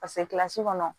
kilasi kɔnɔ